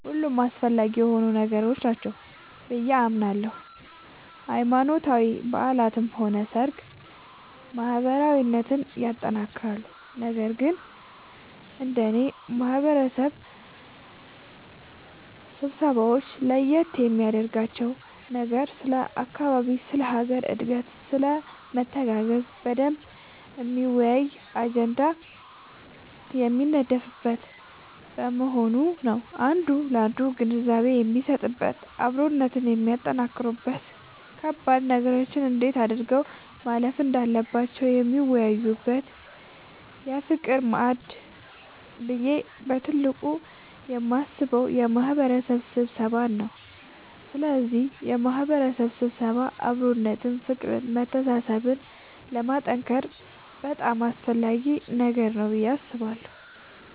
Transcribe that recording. ሁሉም አስፈላጊ የሆኑ ነገሮች ናቸው ብዬ አምናለሁ ሃይማኖታዊ በዓላትም ሆነ ሰርግ ማህበራዊነትን ያጠነክራሉ ነገር ግን እንደኔ የማህበረሰብ ስብሰባወች ለየት የሚያደርጋቸው ነገር ስለ አካባቢ ስለ ሀገር እድገትና ስለመተጋገዝ በደንብ የሚያወያይ አጀንዳ የሚነደፍበት መሆኑ ነዉ አንዱ ላንዱ ግንዛቤ የሚሰጥበት አብሮነትን የሚያጠነክሩበት ከባድ ነገሮችን እንዴት አድርገው ማለፍ እንዳለባቸው የሚወያዩበት የፍቅር ማዕድ ብዬ በትልቁ የማስበው የማህበረሰብ ስብሰባን ነዉ ስለዚህ የማህበረሰብ ስብሰባ አብሮነትን ፍቅርን መተሳሰብን ለማጠንከር በጣም አስፈላጊ ነገር ነዉ ብዬ አስባለሁ።